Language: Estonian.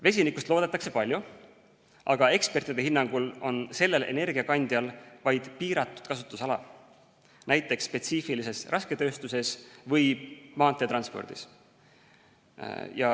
Vesinikust loodetakse palju, aga ekspertide hinnangul on sellel energiakandjal vaid piiratud kasutusala, näiteks spetsiifilises rasketööstuses või maanteetranspordis.